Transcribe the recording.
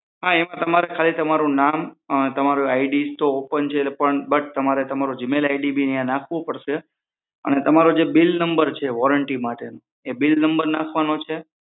હા તમારું નામ તમારું આઈડી તો તમારું ઓપન છે બટ તમારે તમારું જીમૈલ આઈડી બી અહી નાખવું પડશે અને તમારું જે બીલ નંબર છે વોરંટી માટેનો એ બીલ નંબર નાખવાનો છે